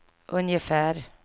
ungefär